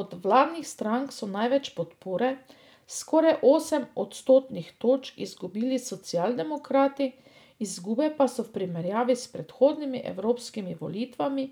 Od vladnih strank so največ podpore, skoraj osem odstotnih točk, izgubili socialdemokrati, izgube pa so v primerjavi s predhodnimi evropski volitvami